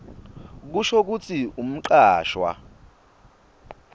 kusho kutsi umcashwa